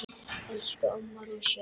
Elsku amma rúsína.